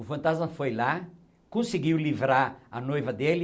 O fantasma foi lá, conseguiu livrar a noiva dele,